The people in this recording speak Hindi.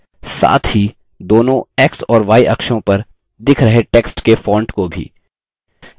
साथ ही दोनों x और y अक्षों पर दिख रहे text के font को भी